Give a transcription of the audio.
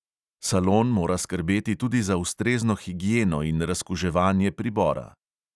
Salon mora skrbeti tudi za ustrezno higieno in razkuževanje pribora.